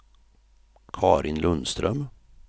Carin Lundström